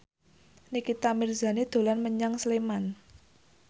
Nikita Mirzani dolan menyang Sleman